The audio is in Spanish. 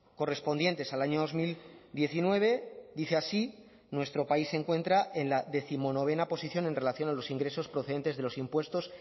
correspondientes al año dos mil diecinueve dice así nuestro país se encuentra en la décimonovena posición en relación a los ingresos procedentes de los impuestos